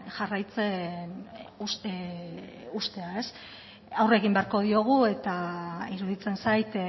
jarraitzen uztea aurre egin beharko diogu eta iruditzen zait